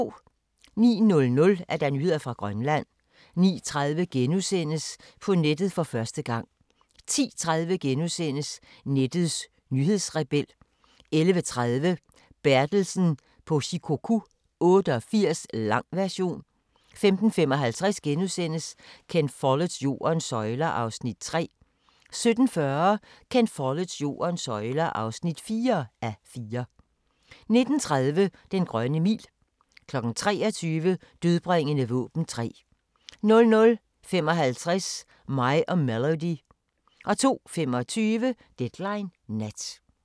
09:00: Nyheder fra Grønland 09:30: På nettet for første gang! * 10:30: Nettets nyhedsrebel * 11:30: Bertelsen på Shikoku 88 – lang version 15:55: Ken Folletts Jordens søjler (3:4)* 17:40: Ken Folletts Jordens søjler (4:4) 19:30: Den grønne mil 23:00: Dødbringende våben 3 00:55: Mig og Melody 02:25: Deadline Nat